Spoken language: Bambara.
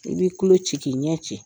I b'i kulo ci k'i ɲɛ ci.